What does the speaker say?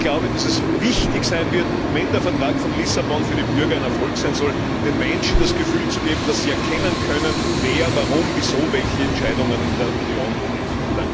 Ich glaube, dass es wichtig sein wird, wenn der Vertrag von Lissabon für die Bürger ein Erfolg sein soll, den Menschen das Gefühl zu geben, dass sie erkennen können, wer, warum, wieso welche Entscheidungen in der Union trifft.